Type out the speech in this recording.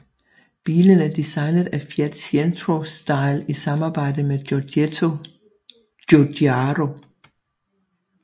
Bilen er designet af Fiat Centro Stile i samarbejde med Giorgetto Giugiaro